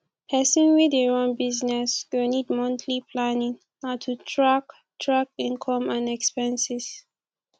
pesin wey dey run business go need monthly planning na to track track income and expenses